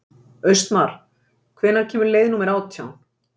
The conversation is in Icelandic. Austmar, hvenær kemur leið númer átján?